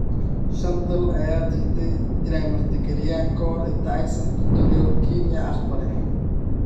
Shan dal ayaa diiday in ay martigeliyaan ka hor inta aysan Equatorial Guinea aqbalin.